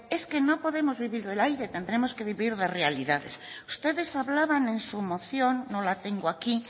es que no podemos vivir del aire tendremos que vivir de realidades ustedes hablaban en su moción no la tengo aquí